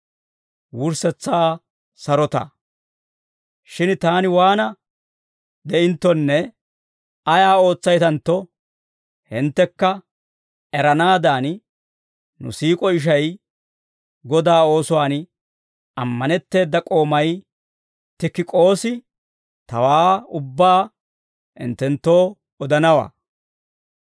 Shin taani waana de'inttonne ayaa ootsaytantto hinttekka eranaadan, nu siik'o ishay, Godaa oosuwaan ammanetteeda k'oomay Tikik'oosi, tawaa ubbaa hinttenttoo odanawaa.